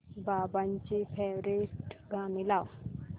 बाबांची फेवरिट गाणी लाव